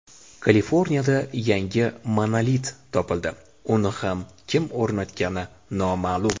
Kaliforniyada yangi monolit topildi uni ham kim o‘rnatgani noma’lum.